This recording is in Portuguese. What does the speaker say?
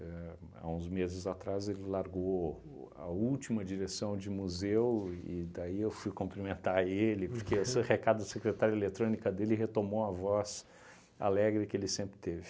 Éh há uns meses atrás ele largou o a última direção de museu e daí eu fui cumprimentar ele, porque esse recado da secretária de eletrônica dele retomou a voz alegre que ele sempre teve.